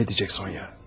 Davam edəcək, Sonya.